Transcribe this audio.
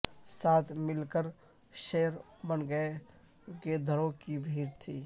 ساتھ مل کر شیر بن گئے پر گیدڑوں کی بھیڑ تھی